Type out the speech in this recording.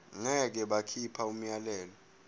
ngeke bakhipha umyalelo